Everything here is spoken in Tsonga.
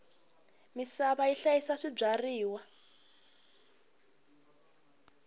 misava yi hlayisa swibyariwa